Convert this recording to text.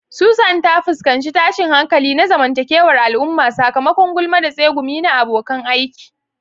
Susan ta fuskanci tashin hankali na zamantakewar al'umma sakamakon gulma da tsegumi na abokan aiki.